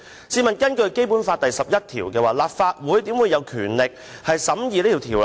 試問根據《基本法》第十一條，立法會豈會有權力審議《條例草案》？